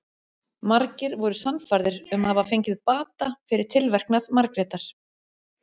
Margir voru sannfærðir um að hafa fengið bata fyrir tilverknað Margrétar.